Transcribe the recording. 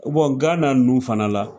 Gana nunnu fana la.